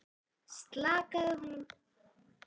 Slakaði honum varlega ofan í rimlarúmið aftur.